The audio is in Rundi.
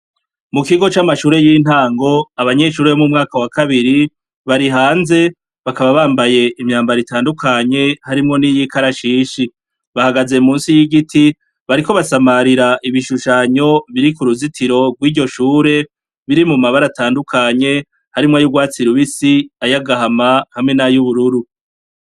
Mu kigo camashure yintango abanyeshure bo mumwaka wa kabiri bari hanze, bakaba bambaye imyambaro itandukanye harimwo niyikarashishi bahagaze munsi yigiti bariko basamarira ibishushanyo biri kuruzitiro rwiryo shure harimwo amabara atandukanye, urwatsi rubisi, agahama hamwe nay'ubururu.